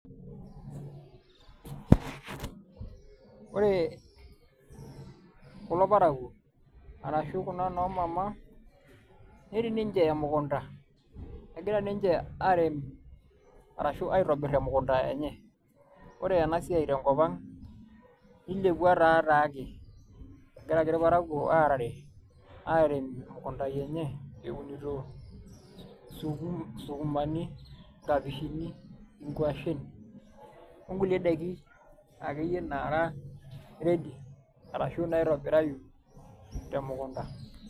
Ore kulo parakuo ashu kuna noo mama, netii ninche emukunta ,egira ninche airem arashu aitobir emukunta enye . Ore ena siai tenkop ang, nilepua taa taake , egira ake irparakuo aarare airem imukuntani enye aun isuk isukumani , nkapishini, nkashen , onkulie daiki akeyie nara ready arashu naitobirayu te mukunta .